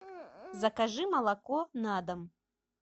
закажи молоко на дом